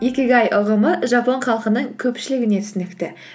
икигай ұғымы жапон халқының көпшілігіне түсінікті